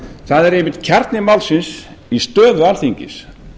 það er einmitt kjarni málsins í stöðu alþingis